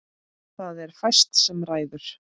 Það er fæst sem ræður.